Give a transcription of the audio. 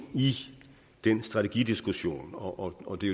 i den strategidiskussion og det